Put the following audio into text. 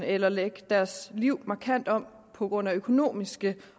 eller lægge deres liv markant om på grund af økonomiske